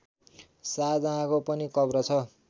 शाहजहाँको पनि कब्र छ